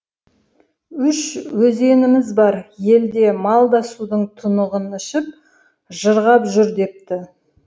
үш өзеніміз бар ел де мал да судың тұнығын ішіп жырғап жүр депті